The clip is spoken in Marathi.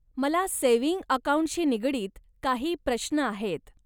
मला सेव्हिंग अकाऊंटशी निगडीत काही प्रश्न आहेत.